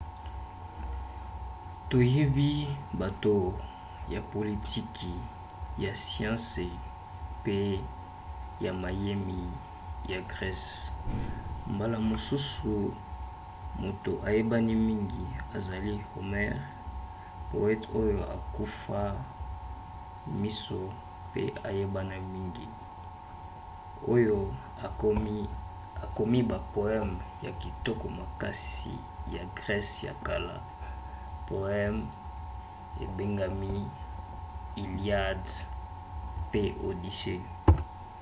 toyebi bato ya politiki ya siansi pe ya mayemi ya grese. mbala mosusu moto ayebani mingi ezali homer poete oyo akufa miso pe ayebana mingi oyo akomi bapoeme ya kitoko makasi ya grese ya kala: poeme ebengami iliad pe odyssey